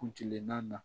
Kuncɛban na